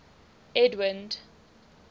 edwind